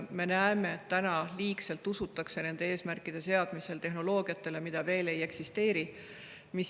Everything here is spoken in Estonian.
Me näeme, et liigselt usutakse nende eesmärkide seadmisel tehnoloogiatesse, mida veel ei eksisteeri.